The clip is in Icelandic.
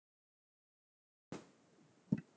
Smyrill, hvaða leikir eru í kvöld?